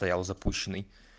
стоял запущенный